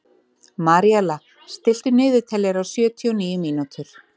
Maríella, stilltu niðurteljara á sjötíu og níu mínútur.